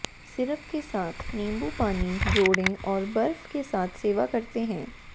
syrup के साथ नींबू पानी जोड़ें और बर्फ के साथ सेवा करते हैं